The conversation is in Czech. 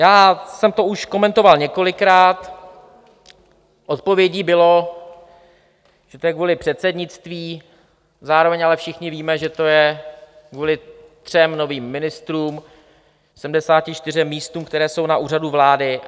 Já jsem to už komentoval několikrát, odpovědí bylo, že to je kvůli předsednictví, zároveň ale všichni víme, že to je kvůli třem novým ministrům, 74 místům, která jsou na Úřadu vlády.